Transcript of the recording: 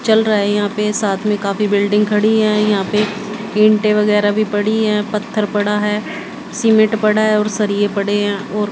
चल रहा है यहां पे साथ मे काफी बिल्डिंग खड़ी है यहा पे ईटें वगैरा भी पड़ी हैं पत्थर पड़ा है सीमेंट पड़ा है और सरिये पड़े है और--